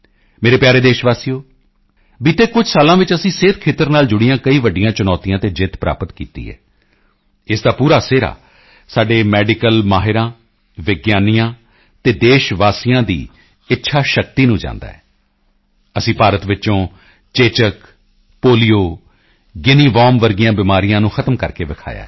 ਮੇਰੇ ਪਿਆਰੇ ਦੇਸ਼ਵਾਸੀਓ ਬੀਤੇ ਕੁਝ ਸਾਲਾਂ ਵਿੱਚ ਅਸੀਂ ਸਿਹਤ ਖੇਤਰ ਨਾਲ ਜੁੜੀਆਂ ਕਈ ਵੱਡੀਆਂ ਚੁਣੌਤੀਆਂ ਤੇ ਜਿੱਤ ਪ੍ਰਾਪਤ ਕੀਤੀ ਹੈ ਇਸ ਦਾ ਪੂਰਾ ਸਿਹਰਾ ਸਾਡੇ ਮੈਡੀਕਲ ਮਾਹਿਰਾਂ ਵਿਗਿਆਨੀਆਂ ਅਤੇ ਦੇਸ਼ਵਾਸੀਆਂ ਦੀ ਇੱਛਾ ਸ਼ਕਤੀ ਨੂੰ ਜਾਂਦਾ ਹੈ ਅਸੀਂ ਭਾਰਤ ਵਿੱਚੋਂ ਚੇਚਕ ਪੋਲੀਓ ਗਿਨੀ ਵਾਰਮ ਜਿਹੀਆਂ ਬਿਮਾਰੀਆਂ ਨੂੰ ਖ਼ਤਮ ਕਰਕੇ ਦਿਖਾਇਆ ਹੈ